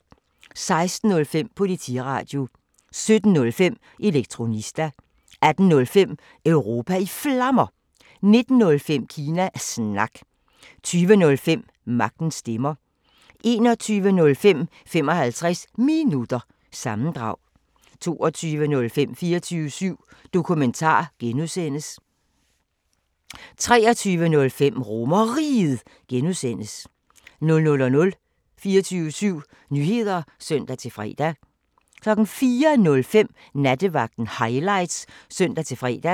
16:05: Politiradio 17:05: Elektronista 18:05: Europa i Flammer 19:05: Kina Snak 20:05: Magtens Stemmer 21:05: 55 Minutter – sammendrag 22:05: 24syv Dokumentar (G) 23:05: RomerRiget (G) 00:00: 24syv Nyheder (søn-fre) 04:05: Nattevagten Highlights (søn-fre)